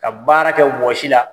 Ka baara kɛ wɔsi la.